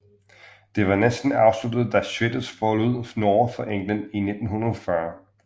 Det var næsten afsluttet da Schwitters forlod Norge for England i 1940